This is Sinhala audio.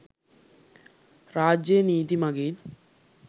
රාජ්‍යය නීති මඟින්